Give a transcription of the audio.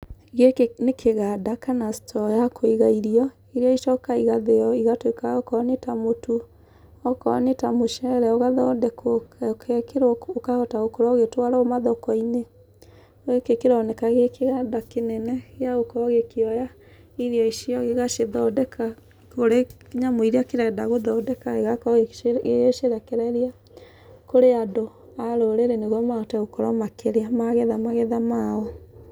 Gĩkĩ nĩ kĩganda kana store ya kũiga irio, irĩa icokaga igathĩo igatuĩka okorwo nĩ ta mũtu. Okorwo nĩta mũcere ũgathondekwo, ũgekĩrwo ũkahota gũkorwo ũgĩtwarwo mathoko-inĩ. Gĩkĩ kĩroneka gĩ kĩganda kĩnene, gĩa gũkorwo gĩkĩoya irio icio, gĩgacithondeka kũrĩ nyamũ irĩa kĩrenda gũthondeka igakorwo igĩcirekereria kũrĩ andũ a rũrĩrĩ nĩguo mahote gũkorwo makĩrĩa magetha magetha mao.